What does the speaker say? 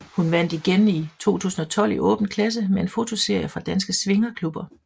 Hun vandt igen i 2012 i Åben Klasse med en fotoserie fra danske swingerklubber